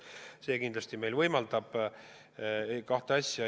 See kindlasti võimaldab kahte asja.